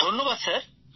ধন্যবাদ স্যার